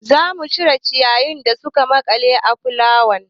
Za mu cire ciyayin da suka maƙale a fulawan.